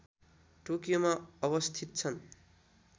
टोकियोमा अवस्थित छन्